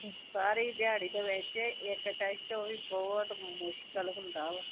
ਸਾਰੀ ਦਿਹਾੜੀ ਚ ਵੈਸੇ ਇੱਕ ਟੈਸਟ ਉਹ ਵੀ ਬਹੁਤ ਮੁਸ਼ਕਿਲ ਹੁੰਦਾ ਵਾ।